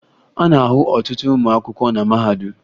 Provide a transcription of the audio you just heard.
A na-ahụ ọtụtụ ụmụ akwụkwọ na mahadum